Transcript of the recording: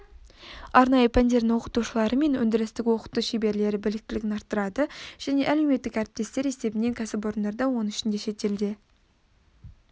арнайы пәндердің оқытушылары мен өндірістік оқыту шеберлері біліктілігін арттырады және әлеуметтік әріптестер есебінен кәсіпорындарда оның ішінде шетелде